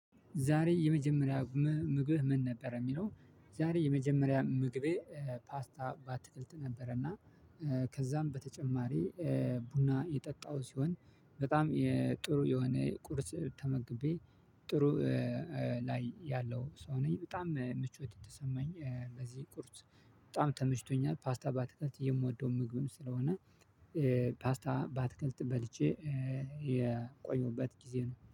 ዛሬ የመጀመሪያ ምግብህ ምን ነበር የሚለው? ዛሬ የመጀመሪያ ምግቤ ፓስታ ባትክልት ነበረ እና ከዛም በተጨማሪ ቡና የጠጣው ሲሆን በጣም ጥሩ የሆነ ቁርስ ተመግቤ። ጥሩ ላይ ያለው ሰው ነኝ በጣም ምቾት የተሰማኝ በዚህ ቁርስ። በጣም ተመሽቶኛል ፓስታ ባትከልት የምወደው ምግብም ስለሆነ ፓስታ ባትገልት በልቼ የቆየሁበት ጊዜ ነው